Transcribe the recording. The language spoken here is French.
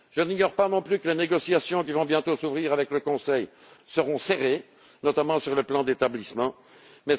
Je n'ignore pas non plus que les négociations qui vont bientôt s'ouvrir avec le Conseil seront serrées, notamment sur le tableau des effectifs.